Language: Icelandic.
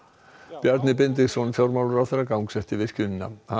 Bjarni Benediktsson fjármálaráðherra gangsetti virkjunina hann